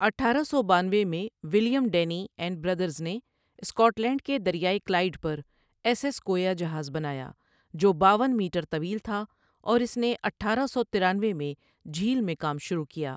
اٹھارہ سو بانوے میں ولیم ڈینی اینڈ برادرز نے سکاٹ لینڈ کے دریائے کلائیڈ پر ایس ایس کویا جہاز بنایا جو باون میٹر طویل تھا اور اس نے اٹھارہ سو ترانوے میں جھیل میں کام شروع کیا۔